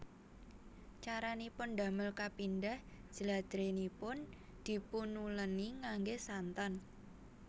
Caranipun ndamel kapindhah jladrènipun dipunulèni nganggé santen